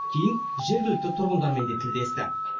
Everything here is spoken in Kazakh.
кейін жергілікті тұрғындармен де тілдесті